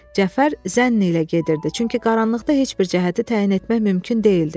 Cəfər zənn ilə gedirdi, çünki qaranlıqda heç bir cəhəti təyin etmək mümkün deyildi.